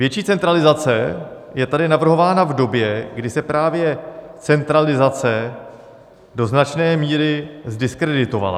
Větší centralizace je tady navrhována v době, kdy se právě centralizace do značné míry zdiskreditovala.